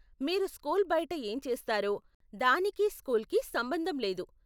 మీరు స్కూల్ బయట ఏం చేస్తారో, దానికి స్కూల్కి సంబంధం లేదు.